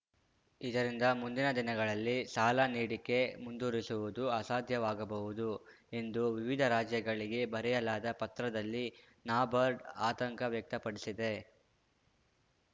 ಇದರಿಂದ ಮುಂದಿನ ದಿನಗಳಲ್ಲಿ ಸಾಲ ನೀಡಿಕೆ ಮುಂದುವರಿಸುವುದು ಅಸಾಧ್ಯವಾಗಬಹುದು ಎಂದು ವಿವಿಧ ರಾಜ್ಯಗಳಿಗೆ ಬರೆಯಲಾದ ಪತ್ರದಲ್ಲಿ ನಬಾರ್ಡ್‌ ಆತಂಕ ವ್ಯಕ್ತಪಡಿಸಿದೆ